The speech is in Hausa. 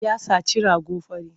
Ya saci rago fari.